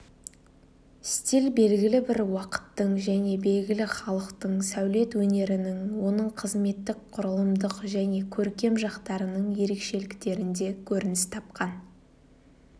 стиль белгілі бір уақыттың және белгілі халықтың сәулет өнерінің оның қызметтік құрылымдық және көркем жақтарының ерекшеліктерінде көрініс тапқан